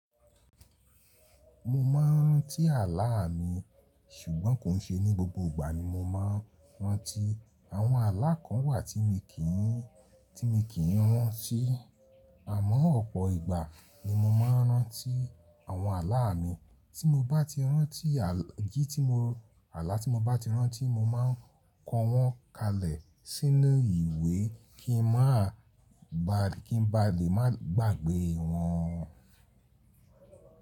Mo máa ń rán tí ààlà mi ṣùgbọ́n kò ń ṣe ní gbogbo ìgbà ní mo máa ń ran tí àwọn ààlà kan wà tí mi kì í, tí mi kì í ran ti. Àmọ́ ọ̀pọ̀ ìgbà ni mo máa ń rán tí àwọn ààlà mi. Tí mo bá ti rán tí gí tí mo, ààlà tí mo bá ti rán tí mo máa ń kọ wọn kalẹ̀ sínú ìwé kí n má ba, kí n ba lè má gbàgbé wọn.